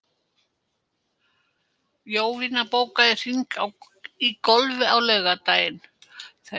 Jovina, bókaðu hring í golf á laugardaginn.